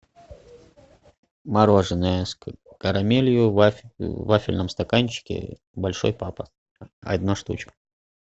мороженое с карамелью в вафельном стаканчике большой папа одна штучка